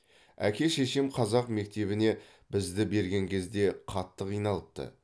әке шешем қазақ мектебіне бізді берген кезде қатты қиналыпты